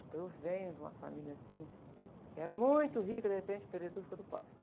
Então eu venho de uma família assim, que era muito rica e de repente perdeu tudo e ficou tudo pobre.